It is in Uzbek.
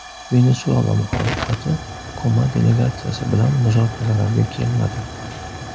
Venesuela muxolifati hukumat delegatsiyasi bilan muzokaralarga kelmadi.